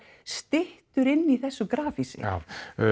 styttur inni í þessu grafhýsi já